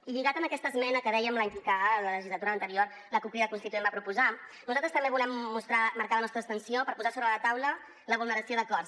i lligat amb aquesta esmena que dèiem que en la legislatura anterior la cup crida constituent va proposar nosaltres també volem marcar la nostra abstenció per posar sobre la taula la vulneració d’acords